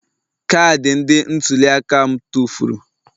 Kaadị ndị ntuli aka m tụfuru